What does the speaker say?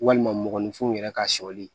Walima mɔgɔninfinw yɛrɛ ka sɔli